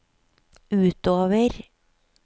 utover